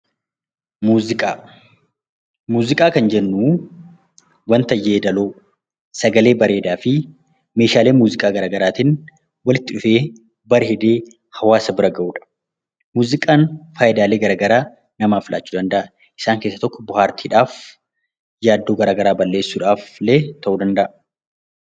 Muuziqaa kan jennu waanta yeedaloo, sagalee bareedaa fi meeshaalee muuziqaa garaa garaatiin walitti dhufee, bareedee hawaasa bira gahudha. Muuziqaan faayidaalee gara garaa namaaf laachuu danda'a. Isaan keessaa tokko bohaartiidhaaf, yaaddoo garaa garaa balleessuudhaafillee ta'uu danda'a.